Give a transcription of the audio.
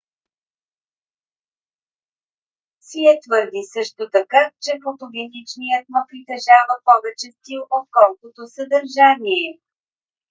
сие твърди също така че фотогеничният ма притежава повече стил отколкото съдържание